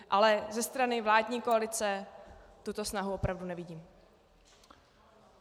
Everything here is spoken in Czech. Ale ze strany vládní koalice tuto snahu opravdu nevidím.